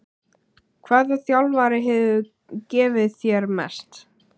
Hvaða þjálfari hefur gefið þér mest?